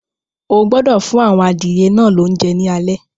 O gbọdọ̀ fún àwọn adìyẹ náà lóúnjẹ ní alé.